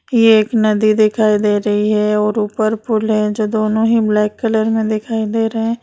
ये एक नदी दिखाई दे रही है और ऊपर पूल है जो दोनों हीं ब्लैक कलर में दिखाई दे रहें हैं।